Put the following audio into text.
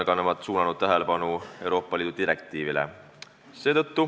Ka sotsiaalkomisjon viitab Euroopa Liidu direktiivile.